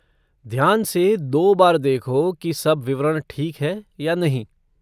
ध्यान से दो बार देखो की सब विवरण ठीक है या नहीं।